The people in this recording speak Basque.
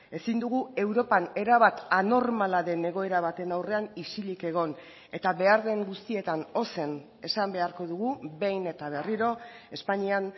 ezin dugu europan erabat anormala den egoera baten aurrean isilik egon eta behar den guztietan ozen esan beharko dugu behin eta berriro espainian